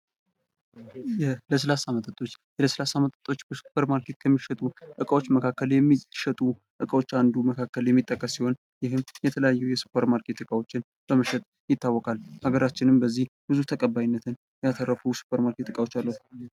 የለስላሳ መጠጦ በ ሱፐርማርኬት ከሚሸጡ እቃዎች መካከል የሚጠቀስ ሲሆን ይህም የተለያዩ የ ዩሱፐርማርኬት እቃዎችን በመሸጥ ይታወቃል ሀገራችንም በዚህ ብዙ ተቀባይነት ያተረፉ የሱፐርማርኬት ዕቃዎች አሉዋት።